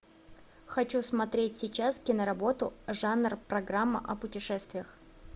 хочу смотреть сейчас киноработу жанр программа о путешествиях